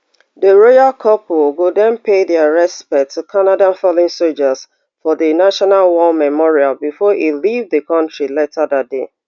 di royal couple go den pay dia respects to canada fallen soldiers for di national war memorial bifor e leave di kontri later dat day